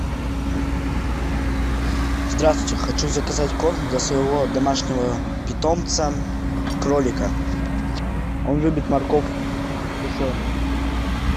здравствуйте хочу заказать корм для своего домашнего питомца кролика он любит морковку сушеную